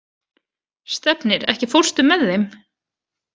Stefnir, ekki fórstu með þeim?